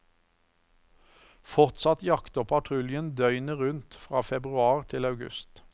Fortsatt jakter patruljen døgnet rundt fra februar til august.